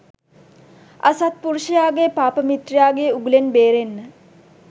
අසත්පුරුෂයාගේ පාපමිත්‍රයාගේ උගුලෙන් බේරෙන්න